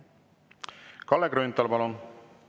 Kalle Grünthal, palun!